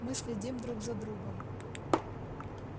мы следим друг за другом